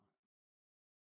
Nej